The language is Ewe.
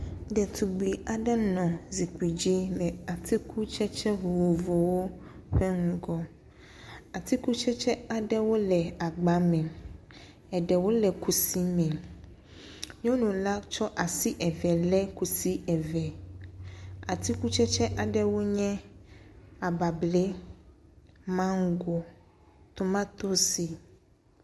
Ɖetugbi aɖe nɔ zikpui dzi le atikutsetse vovovowo ƒe ŋgɔ. Atikutsetse aɖewo le agba me. eɖewo le kusi me. nyɔnu la tsɔ asi eve le kusi eve. Atikutsetse aɖewo nye abablɛ, mago, tomatosi.